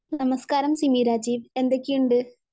നമസ്കാരം സിമി രാജീവ്, എന്തൊക്കെയുണ്ട്?